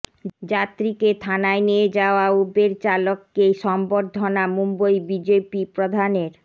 যাত্রীকে থানায় নিয়ে যাওয়া উবের চালককে সংবর্ধনা মুম্বই বিজেপি প্রধানের